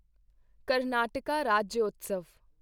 Karnataka Rajyotsava